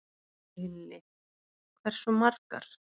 Lillý: Hversu margar?